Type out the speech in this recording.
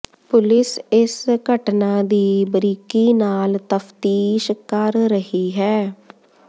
police ਇਸ ਘਟਨਾ ਦੀ ਬਰੀਕੀ ਨਾਲ ਤਫਤੀਸ਼ ਕਰ ਰਹੀ ਹੈ